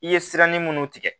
I ye siranni munnu tigɛ